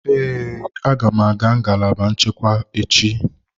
Ee, aga m aga ngalaba nchekwa echi.